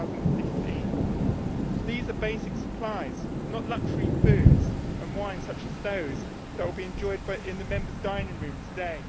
2016. These are basic supplies, not luxury foods and wine such as those that will be enjoyed in the Members' dining room today.